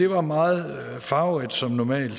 var meget farverig som normalt